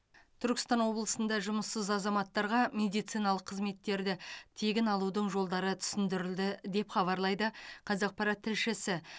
түркістан облысында жұмыссыз азаматтарға медициналық қызметтерді тегін алудың жолдары түсіндірілді деп хабарлайды қазақпарат тілшісі